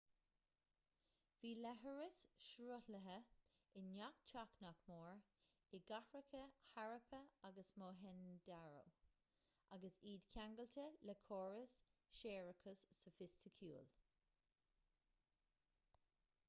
bhí leithreas sruthlaithe i ngach teach nach mór i gcathracha harappa agus mohenjo-daro agus iad ceangailte le córas séarachais sofaisticiúil